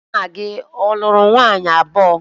Nna gi ọ lụrụ nwaanyi abuo?